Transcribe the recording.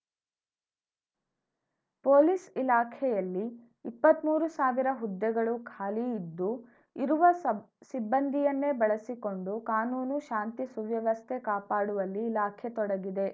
police ಇಲಾಖೆಯಲ್ಲಿ ಇಪ್ಪತ್ಮೂರು ಸಾವಿರ ಹುದ್ದೆಗಳು ಖಾಲಿ ಇದ್ದು ಇರುವ ಸಬ್ ಸಿಬ್ಬಂದಿಯನ್ನೇ ಬಳಸಿಕೊಂಡು ಕಾನೂನು ಶಾಂತಿ ಸುವ್ಯವಸ್ಥೆ ಕಾಪಾಡುವಲ್ಲಿ ಇಲಾಖೆ ತೊಡಗಿದೆ